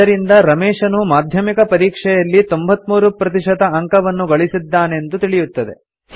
ಇದರಿಂದ ರಮೇಶನು ಮಾಧ್ಯಮಿಕ ಪರೀಕ್ಷೆಯಲ್ಲಿ 93 ಪ್ರತಿಶತ ಅಂಕವನ್ನು ಗಳಿಸಿದ್ದಾನೆಂದು ತಿಳಿಯುತ್ತದೆ